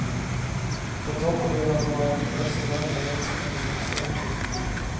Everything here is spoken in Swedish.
På toppen vill han ha en restaurang och längst ner läktare.